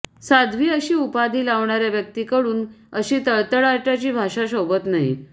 साध्वी अशी उपाधी लावणाऱ्या व्यक्तीकडून अशी तळतळाटाची भाषा शोभत नाही